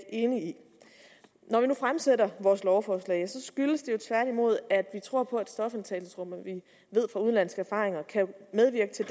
enig i når vi nu fremsætter vores lovforslag så skyldes det jo tværtimod at vi tror på stofindtagelsesrum vi ved fra udenlandske erfaringer at kan medvirke til